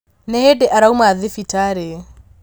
Nĩ hĩndĩ arauma thibitarĩ